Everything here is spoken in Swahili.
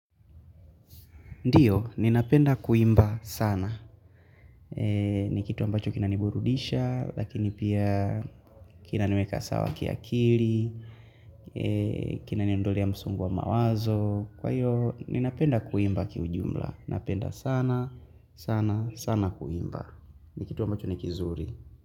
Ndiyo, ninapenda kuimba sana. Ni kitu ambacho kinaniburudisha, lakini pia kinaniweka sawa kiakili, kinaniondolea msongo wa mawazo. Kwa hiyo, ninapenda kuimba kiujumla. Napenda sana, sana, sana kuimba. Ni kitu ambacho nikizuri.